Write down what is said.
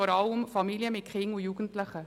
Dies haben wir nun mehrmals gehört.